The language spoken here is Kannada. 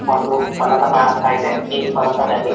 ಒಂದು ಪಲಕ ಕಾಣಿಸ್ತಾ ಇದೆ ಈ ಪಲಕದಲ್ಲಿ --